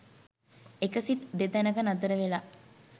එක සිත් දැතැනක නතර වෙලා